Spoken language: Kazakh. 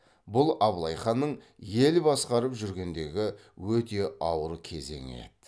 бұл абылай ханның ел басқарып жүргендегі өте ауыр кезеңі еді